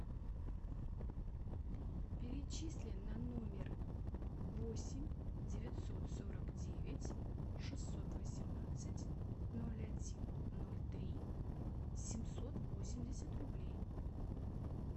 перечисли на номер восемь девятьсот сорок девять шестьсот восемнадцать ноль один ноль три семьсот восемьдесят рублей